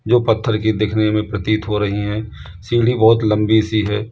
जो पत्थर की दिखने में प्रतीत हो रही हैं सीढ़ी बहोत लंबी सी है।